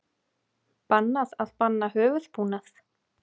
Bannað að banna höfuðbúnað